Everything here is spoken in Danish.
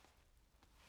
DR2